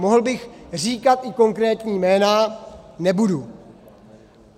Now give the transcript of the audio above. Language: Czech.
Mohl bych říkat i konkrétní jména, nebudu.